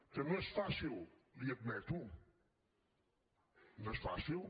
que no és fàcil li ho admeto no és fàcil